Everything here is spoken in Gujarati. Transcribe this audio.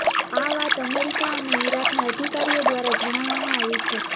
આ વાત અમેરિકા અને ઇરાકના અધિકારીઓ દ્વારા જણાવવામાં આવી છે